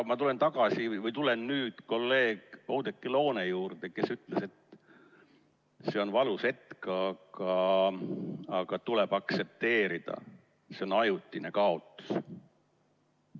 Ma tulen nüüd kolleeg Oudekki Loone juurde, kes ütles, et see on valus hetk, aga seda tuleb aktsepteerida, see on ajutine kaotus.